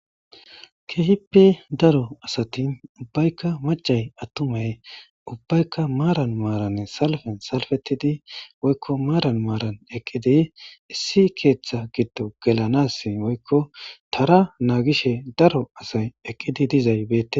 Keehippe daro asati maccay attumay ubbaykka maaran maaran salfe salfetid woykko maaran maaran eqqidi issi keeththa giddon gelanaas woykko tara naagishe daro asay eqqidi dizay beettes.